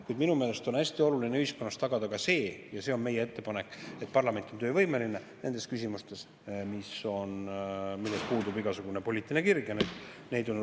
Kuid minu meelest on hästi oluline ühiskonnas tagada ka see – ja see on meie ettepanek –, et parlament on töövõimeline nendes küsimustes, milles puudub igasugune poliitiline kirg.